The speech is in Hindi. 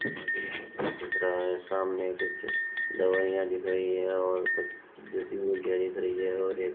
दिख रहा है सामने कुछ दवाइयां दिख रही है और कुछ जड़ी बूटियां दिख रही है और एक --